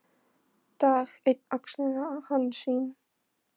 Dag einn axlaði hann sín skinn.